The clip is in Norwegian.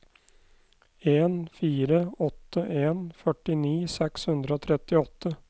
en fire åtte en førtini seks hundre og trettiåtte